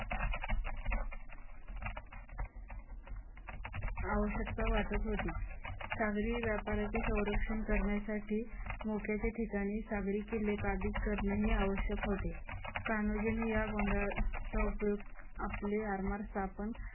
आवश्यकता वाटत होती. सागरी व्यापाराचे संरक्षण करण्यासाठी व त्याच्या ठिकाणी सागरी किल्ले ही काबीज करणे आवश्यक होते. कान्होजींनी या गोंधळाचा उपयोग आपले आरमार स्थापन